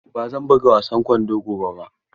Ba zan buga wasan kwando gobe ba.